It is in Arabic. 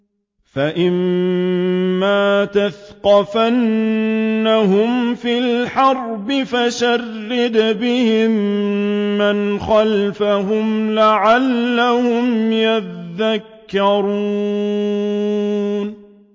فَإِمَّا تَثْقَفَنَّهُمْ فِي الْحَرْبِ فَشَرِّدْ بِهِم مَّنْ خَلْفَهُمْ لَعَلَّهُمْ يَذَّكَّرُونَ